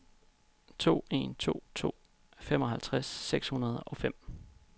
to en to to femoghalvtreds seks hundrede og fem